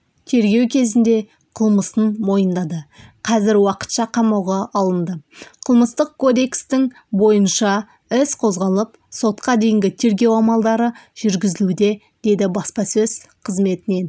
тергеу кезінде қылмысын мойындады қазір уақытша қамауға алынды қылмыстық кодекстің бойынша іс қозғалып сотқа дейінгі тергеу амалдары жүргізілуде деді баспасөз қызметінен